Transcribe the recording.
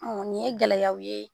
Ɔn nin ye gɛlɛyaw ye